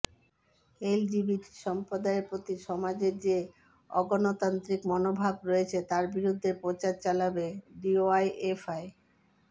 LGBT সম্প্রদায়ের প্রতি সমাজের যে অগণতান্ত্রিক মনোভাব রয়েছে তার বিরুদ্ধে প্রচার চালাবে ডিওয়াইএফআই